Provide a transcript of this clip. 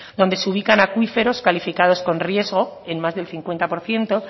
donde se ubican acuíferos calificados con riesgo en más de un cincuenta por ciento